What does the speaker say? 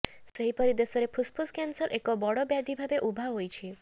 ସେହିପରି ଦେଶରେ ଫୁସ୍ଫୁସ୍ କ୍ୟାନ୍ସର୍ ଏକ ବଡ଼ ବ୍ୟାଧିଭାବେ ଉଭା ହୋଇଛି